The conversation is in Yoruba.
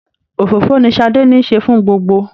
Òfófó ní Sadé nise fún gbogbo.